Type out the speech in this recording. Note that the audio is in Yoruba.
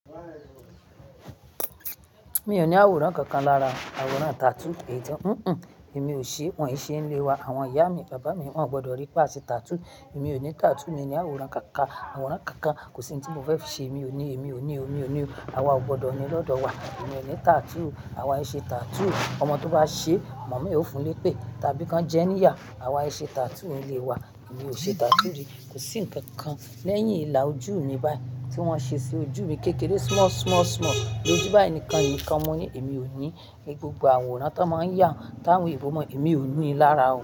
Mi ò ní àwòrán kankan lára, àwòrán tattoo èyí tán, ẹ́ ń ń, èmi ò ṣe, wọ́n ì ṣe nílé wa, àwọn ìyá mi, bàbá mi, wọ́n ò gbọdọ̀ rí pá ṣe tattoo, èmi ò ní tattoo, mi ò ní àwòrán kankan, àwòrán kankan, kò sí ohun tí mo fẹ́ fi ṣe, èmi ò ní, èmi ò ní, èmi ò ní o. Àwa ò gbọdọ̀ ní lọ́dọ̀ wa. Èmi ò ní tattoo, àwa i ṣe tattoo, ọmọ tó bá ṣe, màmá e o fún un lépè tàbí kan jẹ níyà, àwa i ṣe tattoo nílé wa. Èmi ò ṣe tattoo rí. Kò sí ǹkankan. Lẹ́yìn ìlà ojú mi báyìí tí wọ́n ṣe sí ojú mi kékeré small, small, small lójú báyìí nìkan ni mo mọ̀ ní èmi ò ní ní gbogbo àwòrán tó máa ń yà wọ́n táwọn eebo mọ, èmi ò ní i lára o.